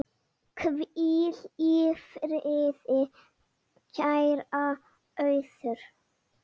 Hvíl í friði, kæra Auður.